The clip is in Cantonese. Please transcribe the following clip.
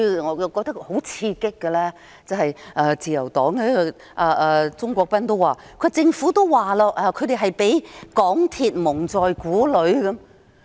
我認為最刺激的是自由黨鍾國斌議員表示，政府已說他們被港鐵公司蒙在鼓裏。